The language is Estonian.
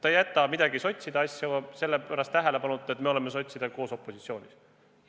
Ta ei jäta mingeid sotside asju selle pärast tähelepanuta, et me oleme sotsidega koos opositsioonis.